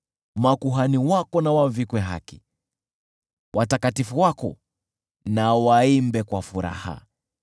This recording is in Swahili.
Makuhani wako na wavikwe haki, watakatifu wako na waimbe kwa furaha.”